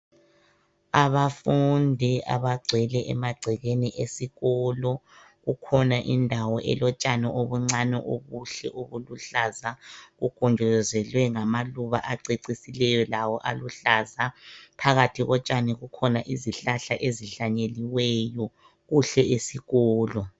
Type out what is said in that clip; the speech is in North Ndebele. Abafundi abagcwele emagcekeni esikolo. Kukhona indawo elotshani obuncane obuhle obuluhlaza obugonjozelwe ngamaluba acecisileyo lawo aluhlaza. Phakathi kotshani kukhona izihlahla ezihlanyeliweyo. Kuhle esikolo.